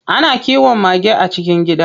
Ana kiwon mage a cikin gida.